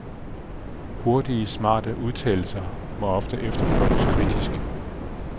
Hurtige, smarte udtalelser må efterprøves kritisk.